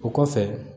O kɔfɛ